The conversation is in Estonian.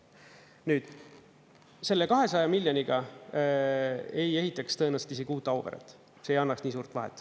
Nüüd, selle 200 miljoniga ei ehitaks tõenäoliselt isegi uut Auveret, see ei annaks nii suurt vahet.